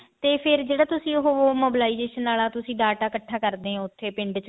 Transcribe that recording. ਤੇ ਫ਼ੇਰ ਜਿਹੜਾ ਤੁਸੀਂ ਉਹ mobilization ਆਲਾ ਤੁਸੀਂ data ਇੱਕਠਾ ਕਰਦੇ ਹੋ ਉੱਥੇ ਪਿੰਡ ਚ